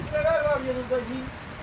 Bilgisayaralar var yanında.